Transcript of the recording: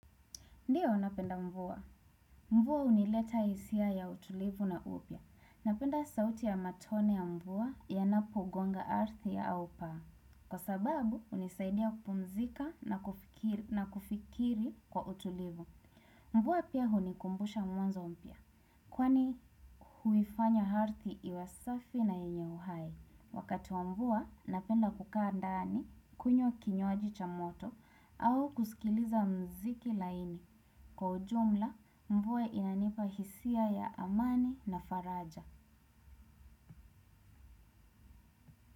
Ndio, napenda mvua. Mvua hunileta hisia ya utulivu na upya. Napenda sauti ya matone ya mvua yanapogonga ardhi au paa. Kwa sababu, hunisaidia kupumzika na kufikiri kwa utulivu. Mvua pia hunikumbusha mwanzo mpya, kwani huifanya ardhi iwe safi na yenye uhai. Wakati wa mvua, napenda kukaa ndani, kunywa kinywaji cha moto, au kusikiliza muziki laini. Kwa ujumla, mvua inanipa hisia ya amani na faraja.